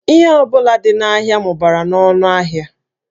Ihe ọ bụla dị n'ahịa mụbara n'ọnụ ahịa